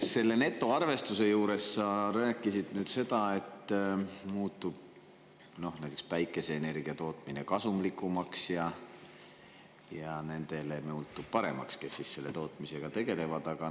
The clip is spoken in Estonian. Selle netoarvestuse juures sa rääkisid sellest, et näiteks päikeseenergia tootmine muutub kasumlikumaks ja selle tootmisega tegelejate paremaks.